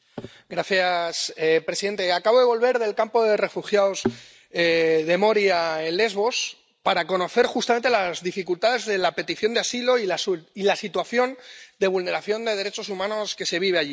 Señor presidente, acabo de volver del campo de refugiados de Moria, en Lesbos, para conocer justamente las dificultades para la petición de asilo y la situación de vulneración de derechos humanos que se vive allí.